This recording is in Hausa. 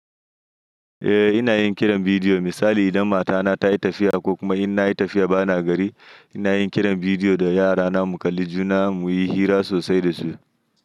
Eh ina yin kiran bidiyo. Misali idan matana ta yi tafiya ko kuma inna yi tafiya bana gari, ina yin kiran bidiyo da yarana mu kalli juna mu yi hira sosai da su.